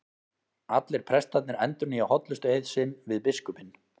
Allir prestarnir endurnýja hollustueið sinn við biskupinn.